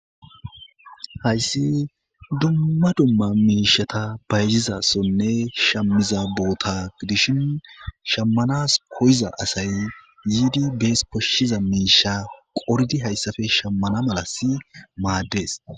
Hayssi dumma dumma miishata bayzizasonne shammiza boota dishin shammanas koyiza asay yiidi bees koshshiza miisha qoridi hayssafe shammana malasi maaddees.